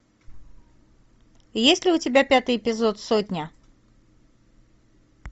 есть ли у тебя пятый эпизод сотня